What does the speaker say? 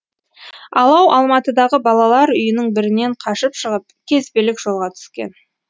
алау алматыдағы балалар үйінің бірінен қашып шығып кезбелік жолға түскен